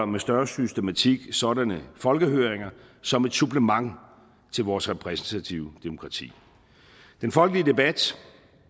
med større systematik afholder sådanne folkehøringer som et supplement til vores repræsentative demokrati den folkelige debat